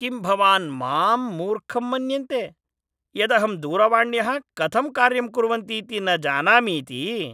किं भवान् माम् मूर्खं मन्यन्ते यदहं दूरवाण्यः कथं कार्यं कुर्वन्तीति न जानामीति?